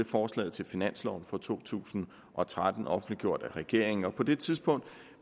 forslaget til finanslov for to tusind og tretten offentliggjort af regeringen og på det tidspunkt